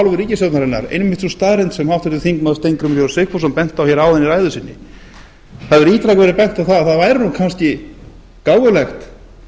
hálfu ríkisstjórnarinnar einmitt sú staðreynd sem háttvirtur þingmaður steingrímur j sigfússon benti á í hér áðan í ræðu sinni það hefur ítrekað verið bent á að það hefði kannski verið gáfulegt